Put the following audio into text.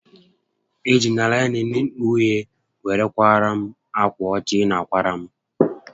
E jila laịnịn uhie were kwaara m ákwà ọcha ị na a kwara m